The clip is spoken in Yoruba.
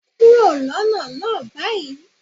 Kúrò lọ́nà náà báyìí!